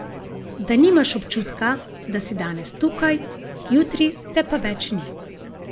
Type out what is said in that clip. Da nimaš občutka, da si danes tukaj, jutri te pa več ni.